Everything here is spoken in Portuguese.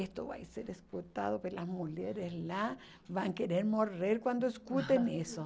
Isso vai ser escutado pelas mulheres lá, vão querer morrer quando escutem isso.